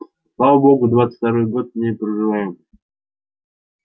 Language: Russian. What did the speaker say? слава богу двадцать второй год в ней проживаем